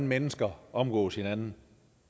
mennesker omgås hinanden